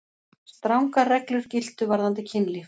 Strangar reglur giltu varðandi kynlíf.